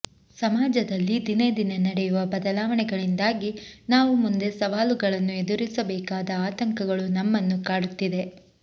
ಸಮಾಜದಲ್ಲಿ ದಿನೇ ದಿನೇ ನಡೆಯುವ ಬದಲಾವಣೆಗಳಿಂದಾಗಿ ನಾವು ಮುಂದೆ ಸವಾಲುಗಳನ್ನು ಎದುರಿಸಬೇಕಾದ ಆತಂಕಗಳು ನಮ್ಮನ್ನು ಕಾಡುತ್ತಿದೆ